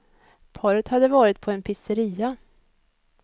Paret hade varit på en pizzeria.